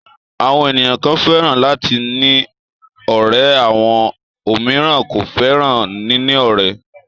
Àwọn ènìyàn kan fẹ́ràn láti ní ọ̀rẹ́ àwọn òmíràn kò fẹ́ràn níní ọ̀rẹ́.